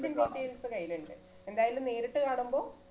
details കയ്യിലുണ്ട് എന്തായാലും നേരിട്ട് കാണുമ്പോ